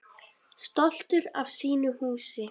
Stoltur af sínu húsi.